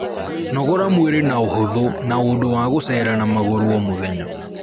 Nogora mwĩrĩ na uhuthu na undu wa guceera na maguru o mũthenya